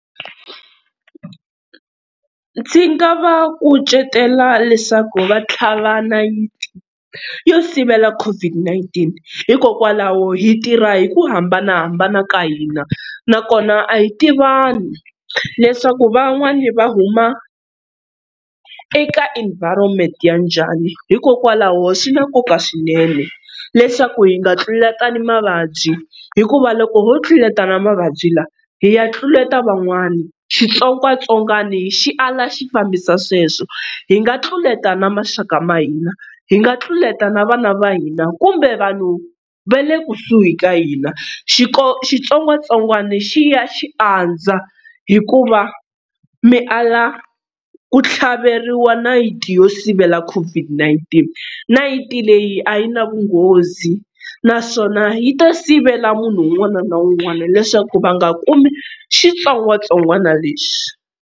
Ndzi nga va kucetela leswaku va tlhava nayiti yo sivela COVID-19 hikokwalaho hi tirha hi ku hambanahambana ka hina na kona a hi tivani leswaku van'wani va huma eka environment ya njhani hikokwalaho swi na nkoka swinene leswaku hi nga tluletani mavabyi hikuva loko ho tluletana mavabyi lawa hi ya tluleta van'wani xitsongwatsongwani xi ala xi fambisa sweswo hi nga tluleta na maxaka ma hina hi nga tluleta na vana va hina kumbe vanhu va le kusuhi ka hina xitsongwatsongwana xi ya xi andza hikuva mi ala ku tlhaveriwa nayiti yo sivela COVID-19. Nayiti leyi a yi na vunghozi naswona yi ta sivela munhu un'wana na un'wana leswaku va nga kumi xitsongwatsongwana lexi.